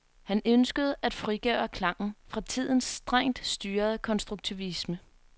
Han ønskede at frigøre klangen fra tidens strengt styrede konstruktivisme.